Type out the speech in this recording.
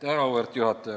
Auväärt juhataja!